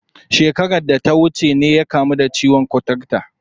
Shekarar da ta wuce ne ya kamu da ciwon kuturta.